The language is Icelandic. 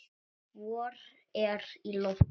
Vor er í lofti.